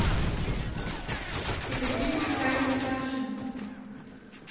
екатерину витальевну паршину